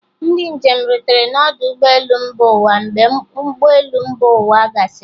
Ndị njem rutere n'ọdụ ụgbọ elu mba ụwa mgbe ụgbọ elu mba ụwa gasịrị